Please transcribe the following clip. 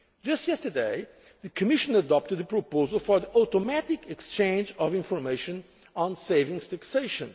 is continuing. Just yesterday, the Commission adopted a proposal for the automatic exchange of information